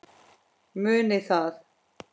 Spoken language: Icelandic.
Munið það.